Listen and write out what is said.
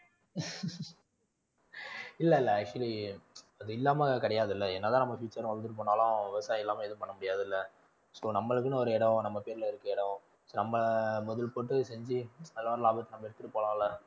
இல்ல இல்ல actually அதில்லாம கிடையாதுல்ல என்ன தான் நம்ம future வந்துட்டு போனாலும் விவசாயம் இல்லாம எதுவும் பண்ண முடியாதுல்ல so நம்மளுக்குன்னு ஒரு இடம் நம்ம பேருல இருக்கற இடம், நம்ம முதல் போட்டு செஞ்சு அதுல வர்ற லாபத்தை நம்ம எடுத்திட்டு போலாம்ல